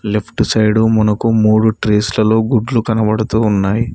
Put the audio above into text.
Left side మనకు మూడు trays లలో గుడ్లు కనబడుతూ ఉన్నాయి.